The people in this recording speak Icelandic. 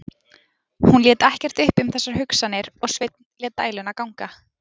Hún lét ekkert uppi um þessar hugsanir og Sveinn lét dæluna ganga.